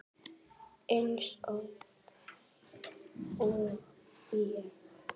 Eins óþæg og ég?